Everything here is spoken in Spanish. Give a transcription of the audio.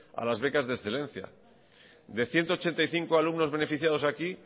a las becas de excelencia de ciento ochenta y cinco alumnos beneficiados aquí